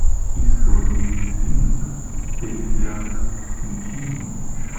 истории свинок третий акт включи мне